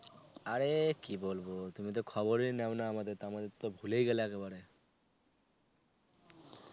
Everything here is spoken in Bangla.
আরে কী বলবো. তুমি তো খবরই নাও না আমাদের তেমন, আমাদের তো ভুলেই গেলা একবারে.